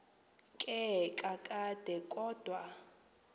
ke kakade kodwa